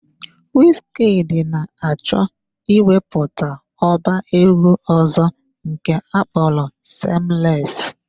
Wizkid na-achọ ịwepụta ọba egwu ọzọ nke ọkpọrọ " SAYLESS "